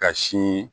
Ka sin